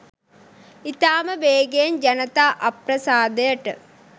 ඉතාම වේගයෙන් ජනතා අප්‍රසාදයට